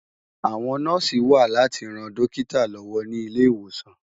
Awòn Nòsi wà láti ròn Dòkitá lòwò ni Ilé-Iwósán